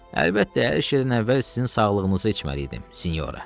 Əlbəttə, əyləşməzdən əvvəl sizin sağlıqınıza içməliydim, sinyora.